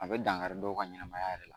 A bɛ dankari dɔw ka ɲɛnamaya yɛrɛ la